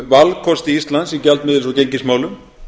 um valkosti íslands í gjaldmiðils og gengismálum